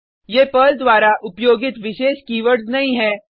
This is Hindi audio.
ये पर्ल द्वारा उपयोगित विशेष कीवर्ड्स नहीं है